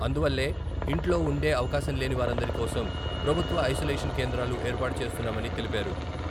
అందువల్లే ఇంట్లో ఉండే అవకాశంలేని వారందరి కోసం ప్రభుత్వ ఐసోలేషన్ కేంద్రాలు ఏర్పాటు చేస్తున్నామని తెలిపారు.